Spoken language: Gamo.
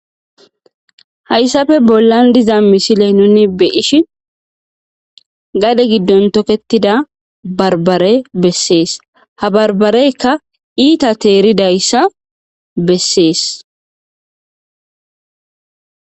Hayssafe bollan diza misiley nuni beishi gade giddon toketida barbare bessees ha barbareykka iita teeridayssa bessees.